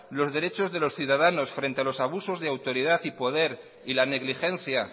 los derechos de los ciudadanos frente a los abusos de autoridad y poder y la negligencia